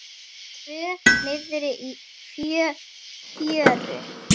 Tvö niðri í fjöru.